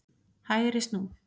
HÆGRI snú.